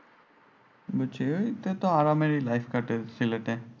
বুঝছি এটাতো আরামেরই life কাটে সিলেটে।